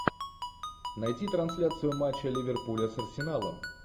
найти трансляцию матча ливерпуля с арсеналом